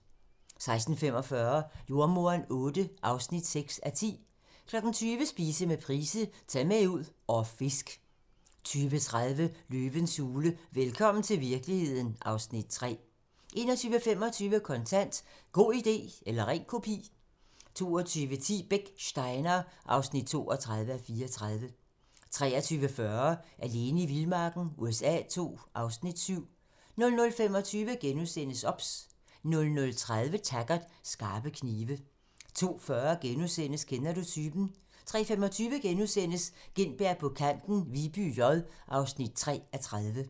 16:45: Jordemoderen VIII (6:10) 20:00: Spise med Price - Ta' med ud og fisk 20:30: Løvens hule - velkommen til virkeligheden (Afs. 3) 21:25: Kontant: God idé eller ren kopi 22:10: Beck: Steinar (32:34) 23:40: Alene i vildmarken USA II (Afs. 7) 00:25: OBS * 00:30: Taggart: Skarpe knive 02:40: Kender du typen? * 03:25: Gintberg på kanten - Viby J (3:30)*